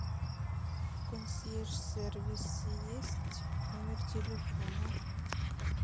в консьерж сервисе есть номер телефона